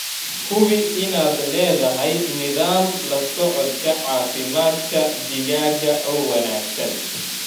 Hubi inaad leedahay nidaam la socodka caafimaadka digaaga oo wanaagsan.